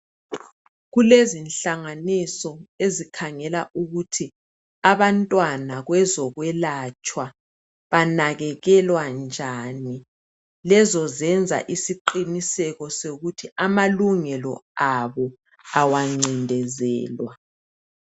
Kulezihlanganiso ezikhangela ukuthi abantwana kwezokwelatshwa banakekelwa njani lezo zenza isiqiniseko sokuthi amalungelo abo awancindezelwa.